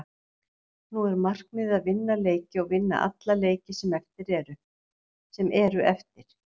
Nú er markmiðið að vinna leiki og að vinna alla leiki sem eru eftir.